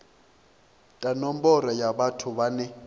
ta nomboro ya vhathu vhane